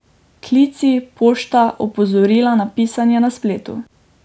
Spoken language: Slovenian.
Klici, pošta, opozorila na pisanje na spletu.